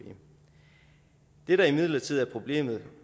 det der imidlertid er problemet